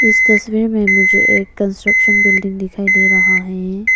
इस तस्वीर में मुझे एक कंस्ट्रक्शन बिल्डिंग दिखाई दे रहा है।